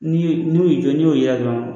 N'i ye n'u y'i jɔ n'u y'a ye dɔrɔn